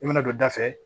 I bɛna don da fɛ